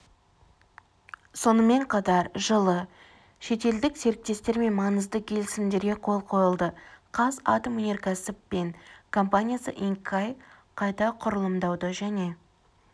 сонымен қатар жылы шетелдік серіктестермен маңызды келісімдерге қол қойылды қазатомөнеркәсіп пен компаниясы инкай қайта құрылымдауды және